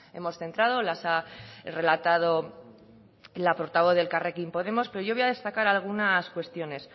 hemos centrado las ha relatado la portavoz de elkarrekin podemos pero yo voy a destacar algunas cuestiones